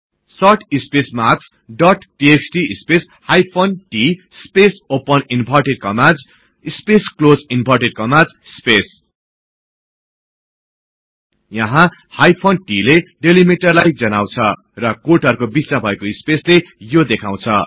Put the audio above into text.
sort space marks dot TXT space hyphen t space open inverted commas space close inverted commas space यहाँ hyphen t ले डिलिमिटरलाई जनाउछ र कोटहरुको बिचमा भएको स्पेसले यो देखाउछ